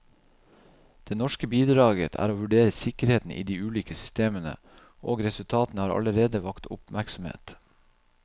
Det norske bidraget er å vurdere sikkerheten i de ulike systemene, og resultatene har allerede vakt oppmerksomhet.